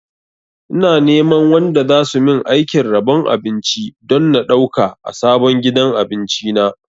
Ina neman wanda zasu min aikin rabon abinci don na ɗauka a sabon gidan abinci na